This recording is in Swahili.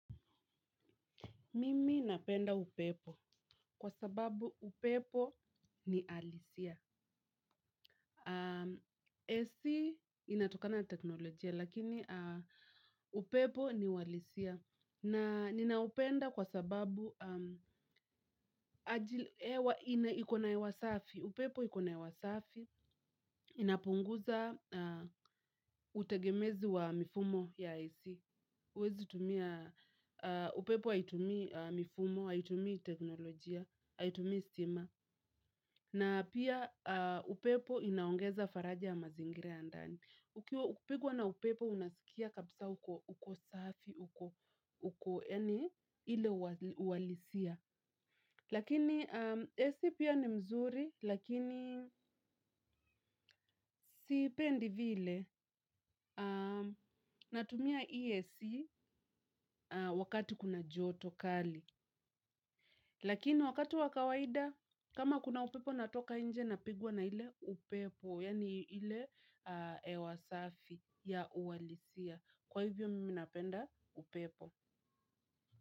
Mimi napenda upepo kwa sababu upepo ni halisia. AC inatokana na teknolojia lakini upepo ni wa halisia. Na ninaupenda kwasababu, aji hewa ina iko na hewa wasafi. Upepo iko na hewa safi. Inapunguza utegemezi wa mifumo ya AC, huwezi tumia upepo haitumii mifumo, haitumii teknolojia. Haitumii stima. Na pia upepo inaongeza faraja ya mazingira ya ndani. Ukiwa kupigwa na upepo unasikia kabisa uko, uko safi uko, uko yani ile uhalisia. Lakini AC pia ni mzuri, lakini siipendi vile natumia hii AC wakati kuna joto kali. Lakini wakati wa kawaida kama kuna upepo natoka nje napigwa na ile upepo yaani ile hewa safi ya uhalisia, kwahivyo mimi napenda upepo.